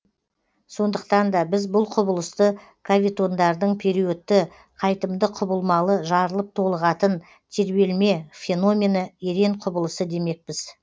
сондықтан да біз бұл құбылысты кавитондардың периодты қайтымды құбылмалы жарылып толығатын тербелме феномені ерен құбылысы демекпіз